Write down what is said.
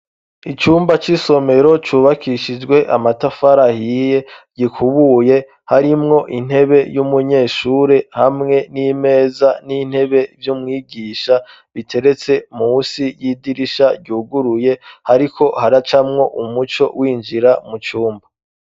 Icumba c'isomero cyubakishijwe amatafara hiye gikubuye harimwo intebe y'umunyeshuri hamwe n'imeza n'intebe by'umwigisha biteretse musi y'idirisha guguruye ariko haracamwo umuco w'injira mu cumba.